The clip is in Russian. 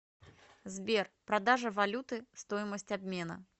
сбер продажа валюты стоимость обмена